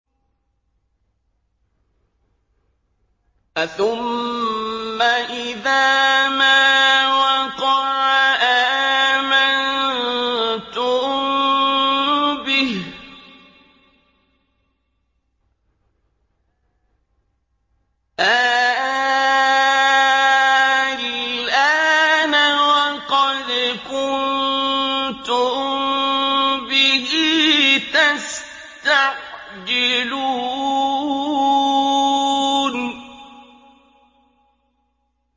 أَثُمَّ إِذَا مَا وَقَعَ آمَنتُم بِهِ ۚ آلْآنَ وَقَدْ كُنتُم بِهِ تَسْتَعْجِلُونَ